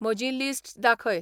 म्हजीं लिस्ट दाखय